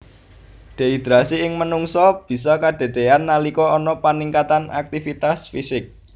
Dehidrasi ing manungsa bisa kedadéyan nalika ana paningkatan aktivitas fisik